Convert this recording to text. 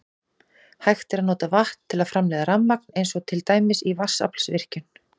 Hægt er að nota vatn til að framleiða rafmagn eins og til dæmis í vatnsaflsvirkjun.